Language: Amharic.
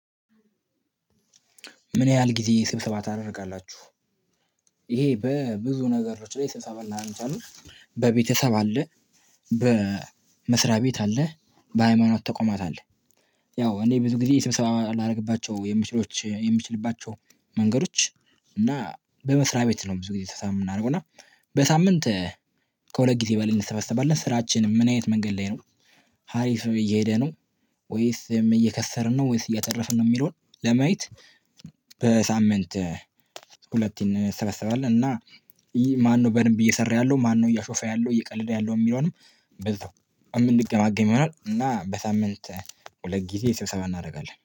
ምን ያህል ጊዜ ስብሰባ ታደርጋላችሁ። ይሄ በብዙ ነገሮች ላይ ስብሰባ ላረግ አንችላለን። በቤተሰብ አ፣ በመስሪያ ቤት አለ፣ በሃይማኖት ተቋማት አለ። ያው እኔ ብዙ ጊዜ ስብሰባ ላደርግባቸው የምችሎች የምንችልባቸው መንገዶች እና በመስሪያ ቤት ነው ብዙ ጊዜ ስብሰባ የምናደርገው እና በሳምንት ከሁለት ጊዜ በልን እንሰበዋለን ስራችን ምን አይነት መንገድ ላይ ነው። ሀሪፍ እየሄደ ነው ወይስ እየከሰርን ነው? ወይስ እየተረፍን ነው? የሚለውን ለማየት በሳምንት ሁለቴን እንሰበሰባለሁ እና ማነው በደንብ እየሰራ ያለው? ማነው እያሾፈ ያለው እየቀለደ ያለው? የሚለውንም በዛ የምንገማገም ይሆናል። እና በሳምንት ሁለት ጊዜ ስብሰባ እናደርጋለ።